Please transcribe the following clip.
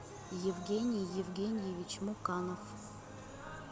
евгений евгеньевич муканов